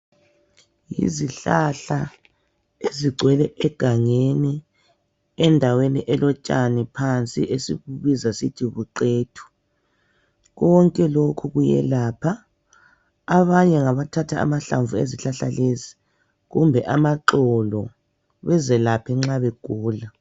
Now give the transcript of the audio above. Izihlahla ezigcwele egangeni endaweni elotshani phansi esilubiza sisithi luqethu konke lokhu kuyelapha abanye ngabathatha amahlamvu ezihlahla lezi kumbe amaxolo bazelaphe nxa begula.